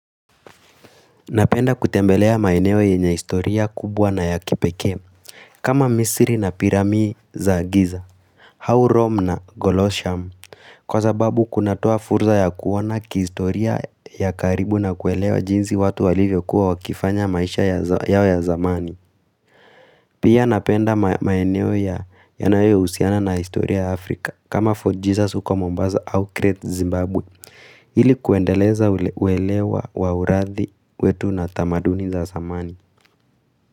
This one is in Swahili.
Napenda kutembelea maeneo yenye historia kubwa na ya kipekee kama misiri na piramii za giza au rome na Golosham Kwa sababu kunatua furza ya kuona kihistoria ya karibu na kuelewa jinsi watu walivyokuwa wakifanya maisha yao ya zamani Pia napenda maeneo ya yanayousiana na historia Afrika kama Fort Jesus uko mombaza au Kretz Zimbabwe ili kuendeleza uelewa wa urathi wetu na tamaduni za samani.